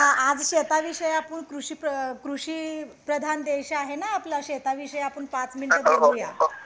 हा आज शेताविषयी आपण कृषी प्र कृषी प्रधान देश आहेना आपला शेताविषयी आपण पाच मिनिट बोलू या